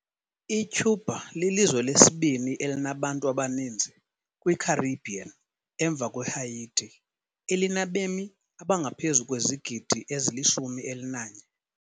ICuba lilizwe lesibini elinabantu abaninzi kwiCaribbean emva kweHaiti, elinabemi abangaphezu kwezigidi ezili-11.